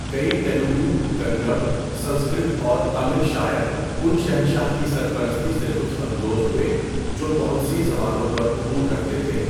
کئی تیلگو، کنڑ، سنسکرت اور تامل شاعران شہنشاہ کی سرپرستی سے لطف اندوز ہوئے، جو بہت سی زبانوں پر عبور رکھتے تھے۔